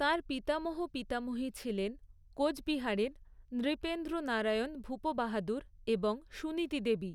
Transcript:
তাঁর পিতামহ পিতামহী ছিলেন কোচবিহারের নৃপেন্দ্র নারায়ণ ভূপ বাহাদুর এবং সুনীতি দেবী।